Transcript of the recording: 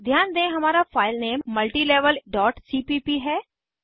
ध्यान दें हमारा फाइलनेम multilevelसीपीप है